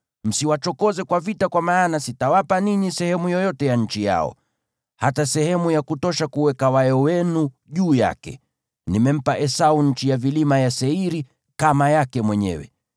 Msiwachokoze kwa vita kwa maana sitawapa ninyi sehemu yoyote ya nchi yao, hata sehemu ya kutosha kuweka wayo wenu juu yake. Nimempa Esau nchi ya vilima ya Seiri kama yake mwenyewe.